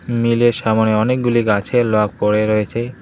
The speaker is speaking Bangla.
মিলের সামোনে অনেকগুলি গাছের লগ পড়ে রয়েছে।